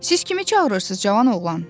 Siz kimi çağırırsız, cavan oğlan?